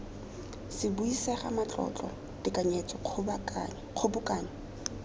se buisega matlotlo tekanyetso kgobokanyo